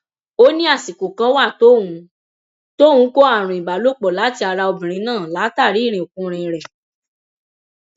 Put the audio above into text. ó ní àsìkò kan wà tóun tóun kó àrùn ìbálòpọ láti ara obìnrin náà látàrí irinkurin rẹ